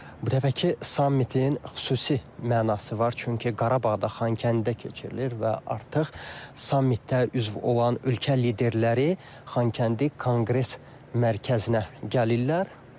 Bu dəfəki sammitin xüsusi mənası var, çünki Qarabağda, Xankəndidə keçirilir və artıq sammitdə üzv olan ölkə liderləri Xankəndi Konqres Mərkəzinə gəlirlər.